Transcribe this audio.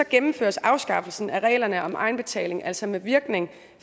gennemføres afskaffelsen af reglerne om egenbetaling altså med virkning